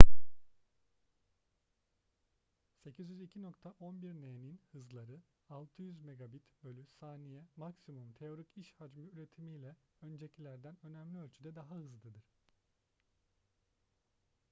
802.11n'nin hızları 600mbit/s maksimum teorik iş hacmi üretimiyle öncekilerden önemli ölçüde daha hızlıdır